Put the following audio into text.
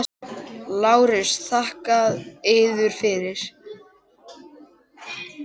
LÁRUS: Þakka yður fyrir.